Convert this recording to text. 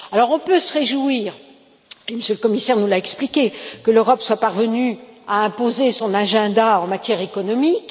On peut se réjouir M. le commissaire nous l'a expliqué que l'Europe soit parvenue à imposer son agenda en matière économique.